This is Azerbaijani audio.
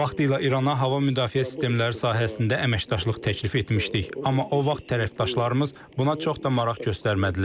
Vaxtilə İrana hava müdafiə sistemləri sahəsində əməkdaşlıq təklif etmişdik, amma o vaxt tərəfdaşlarımız buna çox da maraq göstərmədilər.